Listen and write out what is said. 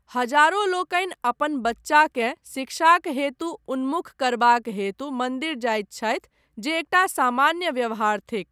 हजारो लोकनि अपन बच्चाकेँ शिक्षाक हेतु उन्मुख करबाक हेतु मन्दिर जाइत छथि जे एकटा सामान्य व्यवहार थिक।